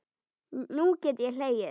Nú get ég hlegið.